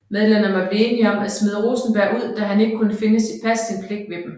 Medlemmerne blev enige om at smide Rosenberg ud da han ikke kunne passe sin pligt ved dem